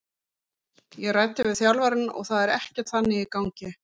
Ég ræddi við þjálfarann og það er ekkert þannig í gangi.